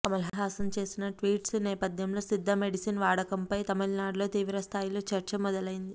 కమల్ హాసన్ చేసిన ట్వీట్స్ నేపథ్యంలో సిద్ధ మెడిసిన్ వాడకంపై తమిళనాడులో తీవ్ర స్థాయిలో చర్చ మొదలైంది